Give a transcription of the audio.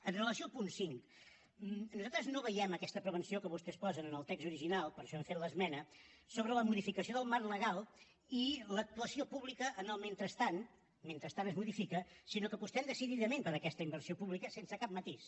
amb relació al punt cinc nosaltres no veiem aquesta prevenció que vostès posen en el text original per això hem fet l’esmena sobre la modificació del marc legal i l’actuació pública en el mentrestant mentre es modifica sinó que apostem decididament per aquesta inversió pública sense cap matís